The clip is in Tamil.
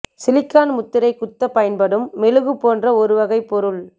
சிலிகான் முத்திரை குத்தப் பயன்படும் மெழுகு போன்ற ஒரு வகைப் பொருள்